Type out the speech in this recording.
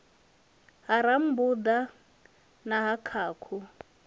ha rambuḓa na ha khakhu